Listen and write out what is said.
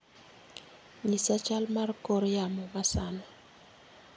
Nyisa chal mar kor yamo masani